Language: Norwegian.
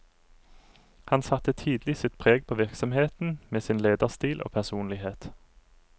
Han satte tidlig sitt preg på virksomheten med sin lederstil og personlighet.